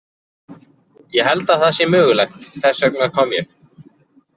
Ég held að það sé mögulegt, þess vegna kom ég.